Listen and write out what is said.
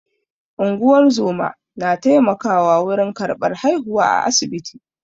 Unguwar zoma na taimakawa wurin karɓar haihuwa a asibiti.